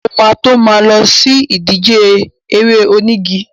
Mo ma tó ma lọ sí ìdíje eré onígi.